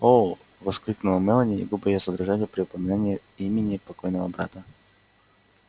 о воскликнула мелани и губы её задрожали при упоминании имени покойного брата